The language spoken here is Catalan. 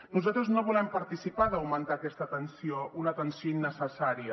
nosaltres no volem participar d’augmentar aquesta tensió una tensió innecessària